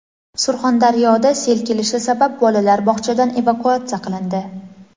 Surxondaryoda sel kelishi sabab bolalar bog‘chadan evakuatsiya qilindi.